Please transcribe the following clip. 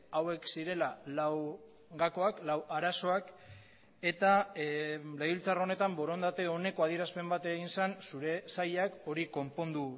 hauek zirela lau gakoak lau arazoak eta legebiltzar honetan borondate oneko adierazpen bat egin zen zure sailak hori konpondu